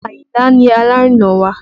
Ayinla ni alárinà wa